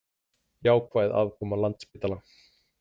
Jákvæð afkoma Landspítala